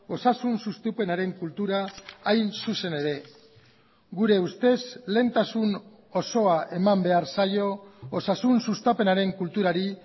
osasun sustapenaren kultura hain zuzen ere gure ustez lehentasun osoa eman behar zaio osasun sustapenaren kulturari